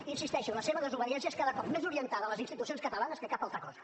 hi insisteixo la seva desobediència és cada cop més orientada a les institucions catalanes que cap altra cosa